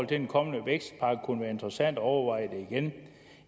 den kommende vækstpakke kunne være interessant at overveje det igen